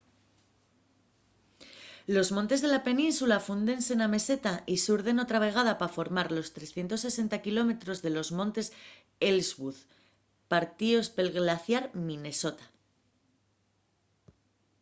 los montes de la península fúndense na meseta y surden otra vegada pa formar los 360km de los montes ellsworth partíos pel glaciar minnesota